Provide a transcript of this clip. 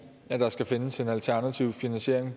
at der skal findes en alternativ finansiering